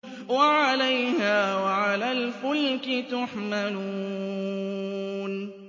وَعَلَيْهَا وَعَلَى الْفُلْكِ تُحْمَلُونَ